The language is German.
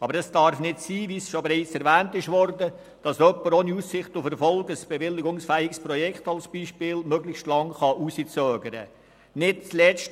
Aber es darf nicht sein, dass beispielsweise jemand ein bewilligungsfähiges Projekt ohne Aussicht auf Erfolg möglichst lange hinauszögern kann.